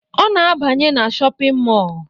Ọ na-abanye na shọpịn mọọ